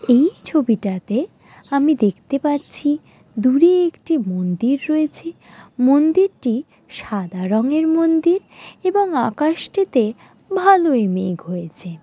এই ছবিটাতে আমি দেখতে পাচ্ছি দূরে একটি মন্দির রয়েছে মন্দিরটি সাদা রঙের মন্দির এবং আকাশটিতে ভালোই মেঘ হয়েছে।